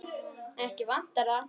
Ekki vantar það.